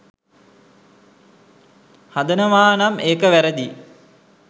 හදනවානම් ඒක වැරදියි.